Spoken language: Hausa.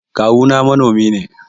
Kawu na manomi ne.